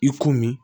I komi